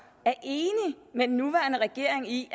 er enige med den nuværende regering i